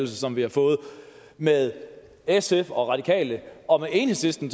som vi har fået med sf og radikale og enhedslisten